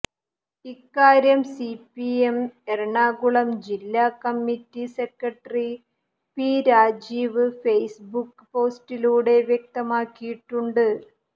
ഇക്കാര്യം സിപിഎം എറണാകുളം ജില്ലാ committee secretary P Rajeev Facebook പോസ്റ്റിലൂടെ വ്യക്തമാക്കിയിട്ടുണ്ട്